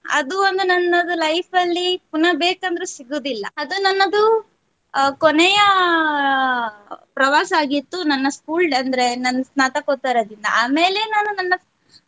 ಅದು ಒಂದು ನನ್ನದು life ಅಲ್ಲಿ ಪುನಃ ಬೇಕಂದ್ರು ಸಿಗುವುದಿಲ್ಲಾ ಅದು ನನ್ನದು ಆ ಕೊನೆಯ ಪ್ರವಾಸ ಆಗಿತ್ತು ನನ್ನ school ಅಂದ್ರೆ ನನ್ನ ಸ್ನಾತಕೋತ್ತರ ದಿನ ಆಮೇಲೆ.